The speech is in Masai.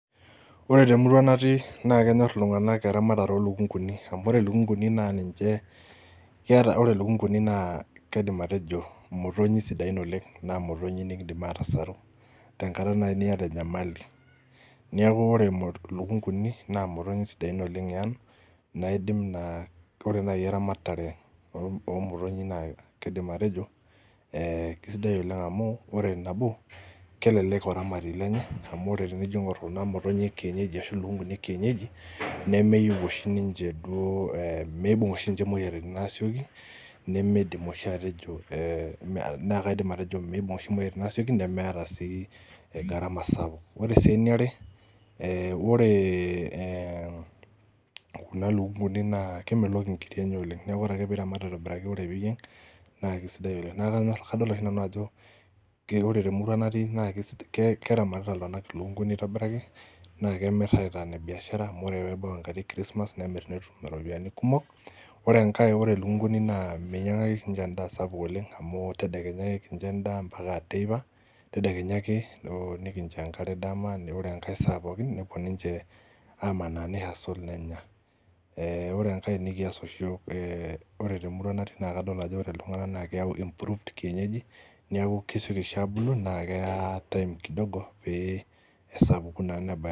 Ore temurua natii naa kenyorr iltung'anak eramatare olukunguni amu ore ilukunguni naa ninche keeta ore ilukunguni naa kaidim atejo imotonyi sidain oleng naa imotonyi nikindim atasaru tenkata naai niyata enyamali niaku ore imo ilukunguni naa imotonyi sidain oleng eang naidim naa ore naai eramatare oh omotonyi naa kaidim atejo eh kisidai oleng amu ore nabo kelelek oramatie lenye amu tenijio aing'orr kuna motonyi e kienyeji ashu ilukunguni e kienyeji nemeyieu oshi ninche duo eh meibung oshi ninche imoyiaritin asioki nemeidim oshi atejo eh mee naa kaidim oshi atejo meibung oshi imoyiaritin asioki nemeeta sii eh gharama sapuk ore sii eniare eh ore eh kuna lukunguni naa kemelok inkiri enye oleng niaku ore ake piramat aitobiraki naa kisidai oleng naa kanyorr kadol oshi nanu ajo ki ore temurua natii naa kisi ke keramatita iltung'anak ilukunguni aitobiraki naa kemirr aitaa ine biashara amu ore peebau enkata e christmas nemirr netum iropiani kumok ore enkae ore ilukunguni naa meinyang'aki oshi inche endaa sapuk oleng amu tedekenya ake kincho endaa ampaka teipa tedekenya ake oh nikinjo enkare dama ne ore enkae saa pookin nepuo ninche amanaa nei hustle nenya eh ore enkae nikias oshi iyiok eh ore temurua natii naa kadol ajo ore iltung'anak naa keyau improved kienyeji niaku kesioki oshi abulu naa keya time kidogo pee esapuku naa neba.